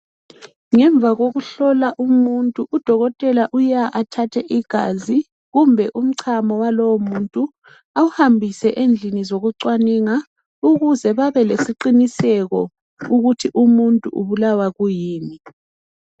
Ngemva kokuhlola umuntu udokotela uya athathe igazi kumbe umchamo walowo muntu awuhambiseni endlini zokucwaninga ukuze babelesiqiniseko ukuthi umuntu ubalawa yini.